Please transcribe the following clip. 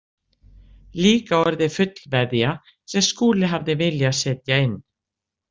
Líka orðið fullveðja sem Skúli hafði viljað setja inn.